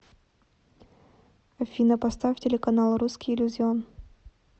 афина поставь телеканал русский иллюзион